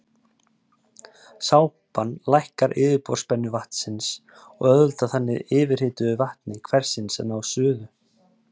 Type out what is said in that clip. sápan lækkar yfirborðsspennu vatnsins og auðveldar þannig yfirhituðu vatni hversins að ná suðu